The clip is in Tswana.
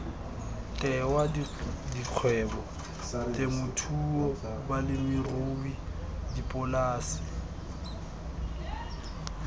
tewa dikgwebo temothuo balemirui dipolase